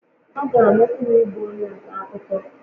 Ọ ga-amasị m ịbụ onye nta akụkọ